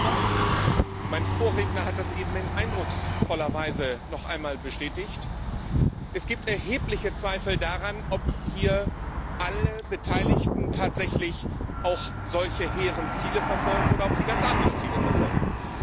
Aber, mein Vorredner hat das eben in eindrucksvoller Weise noch einmal bestätigt, es gibt erhebliche Zweifel daran, ob hier alle Beteiligten tatsächlich auch solche hehren Ziele verfolgen, oder ob sie ganz andere Ziele verfolgen.